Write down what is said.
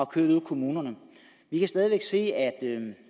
kørt ude i kommunerne vi kan se at